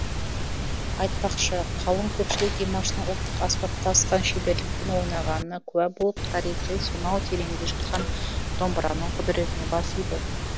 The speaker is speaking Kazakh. айтпақшы қалың көпшілік димаштың ұлттық аспапта асқан шеберлікпен ойнағанына куә болып тарихи сонау тереңде жатқан домбыраның құдіретіне бас иді